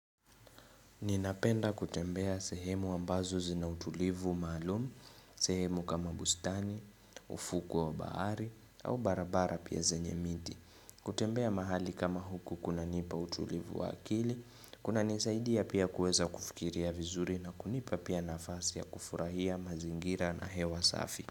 Ninapenda kutembea sehemu ambazo zina utulivu maalum, sehemu kama bustani, ufukwe wa bahari, au barabara pia zenye miti. Kutembea mahali kama huku kuna nipa utulivu wa akili, kuna nisaidia pia kuweza kufikiria vizuri na kunipa pia nafasi ya kufurahia mazingira na hewa safi.